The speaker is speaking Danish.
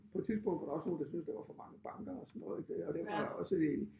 På et tidspunkt var der også nogle der syntes der var for mange banker og sådan noget ik og det var også det